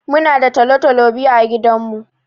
Muna da tolo-tolo biyu a gidan mu.